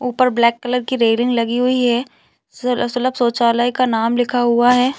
ऊपर black colour की railing लगी हुई है सुल सुलभ शौचालय का नाम लिखा हुआ हैं।